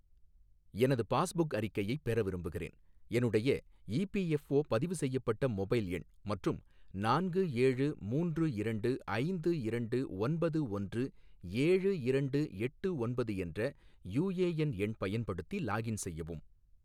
எனது பாஸ்புக் அறிக்கையைப் பெற விரும்புகிறேன், என்னுடைய இபிஎஃப்ஓ பதிவு செய்யப்பட்ட மொபைல் எண் மற்றும் நான்கு ஏழு மூன்று இரண்டு ஐந்து இரண்டு ஒன்பது ஒன்று ஏழு இரண்டு எட்டு ஒன்பது என்ற யுஎஎன் எண் பயன்படுத்தி லாகின் செய்யவும்.